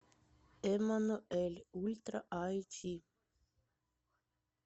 эммануэль ультра айч ди